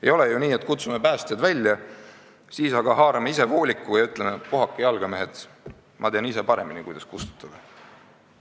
Ei ole ju nii, et kutsume päästjad välja, siis aga haarame ise vooliku ja ütleme, et puhake jalga, mehed, ma tean ise paremini, kuidas tuld kustutada.